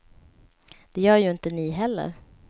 Det gör ju inte ni heller.